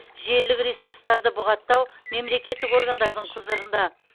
желілік ресурстарды бұғаттау мемлекеттік органдардың құзырында